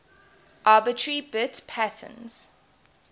arbitrary bit patterns